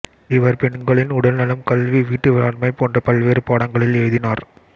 இவர் பெண்களின் உடல்நலம் கல்வி வீட்டு மேலாண்மை போன்ற பல்வேறு பாடங்களில் எழுதினார்